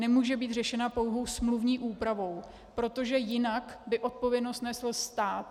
Nemůže být řešena pouhou smluvní úpravou, protože jinak by odpovědnost nesl stát.